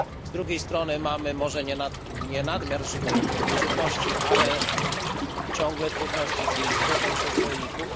Z drugiej strony mamy może nie nadmiar żywności, ale ciągle trudności z jej zbytem przez rolników.